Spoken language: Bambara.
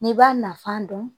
N'i b'a nafa dɔn